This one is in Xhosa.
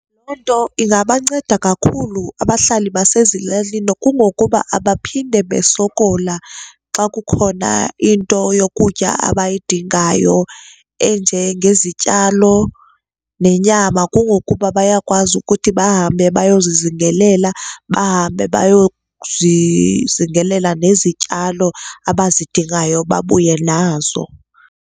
Loo nto ingabanceda kakhulu abahlali basezilalini kungokuba abaphinde basokola xa kukhona into yokutya abayidingayo enje ngezityalo nenyama, kungokuba bayakwazi ukuthi bahambe bayozizingelela bahambe bayozizingelela nezityalo abazidingayo babuye nazo.